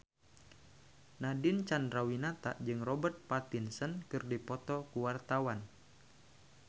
Nadine Chandrawinata jeung Robert Pattinson keur dipoto ku wartawan